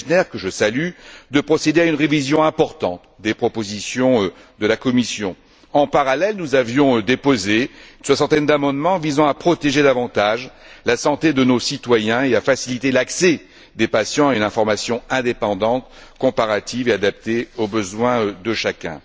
Fjellner que je salue de procéder à une révision importante des propositions de la Commission. En parallèle, nous avions déposé une soixantaine d'amendements visant à protéger davantage la santé de nos citoyens et à faciliter l'accès des patients et l'information indépendante, comparative et adaptée aux besoins de chacun.